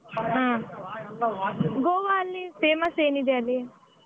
ಹಾ Goa ಅಲ್ಲಿ famous ಏನಿದೆ ಅಲ್ಲಿ?